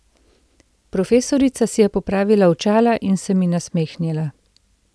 Profesorica si je popravila očala in se mi nasmehnila.